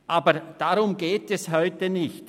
Aber darum geht es heute nicht: